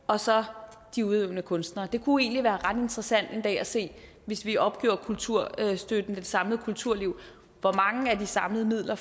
og så de udøvende kunstnere anden det kunne egentlig være ret interessant en dag at se hvis vi opgiver kulturstøtten til det samlede kulturliv hvor mange af de samlede midler